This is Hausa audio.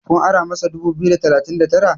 ku ara masa dubu biyu da talatin da Tara?